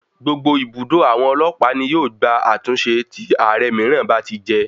Gbogbo ibùdó àwọn ọlọ́pàá ní yóò gba àtúnṣe tí Ààrẹ mìíràn bá ti jẹ.